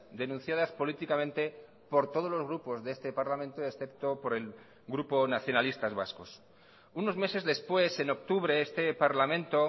denunciadas políticamente por todos los grupos de este parlamento excepto por el grupo nacionalistas vascos unos meses después en octubre este parlamento